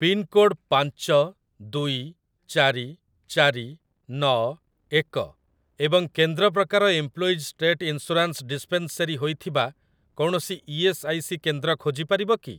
Pincode ପାଞ୍ଚ ଦୁଇ ଚାରି ଚାରି ନଅ ଏକ ଏବଂ କେନ୍ଦ୍ର ପ୍ରକାର ଏମ୍ପ୍ଲୋଇଜ୍ ଷ୍ଟେଟ୍ ଇନ୍ସୁରାନ୍ସ ଡିସ୍ପେନ୍ସେରୀ ହୋଇଥିବା କୌଣସି ଇ.ଏସ୍. ଆଇ. ସି. କେନ୍ଦ୍ର ଖୋଜିପାରିବ କି?